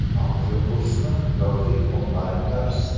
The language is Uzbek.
Audio kursmi yoki onlayn dars?